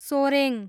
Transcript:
Soreng